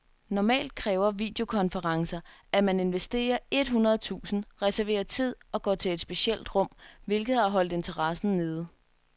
Normalt kræver videokonferencer, at man investerer et hundrede tusind , reserverer tid og går til et specielt rum, hvilket har holdt interessen nede.